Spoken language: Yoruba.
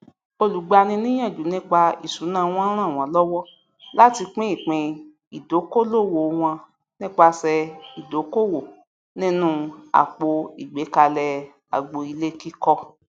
olùgbaniníyànjú nípa ìṣúná wọn ràn wọn lọwọ láti pín ìpín ìdókolòwò wọn nípasẹ ìdókòwò nínú àpò ìgbékalè agbo ilé kíkọ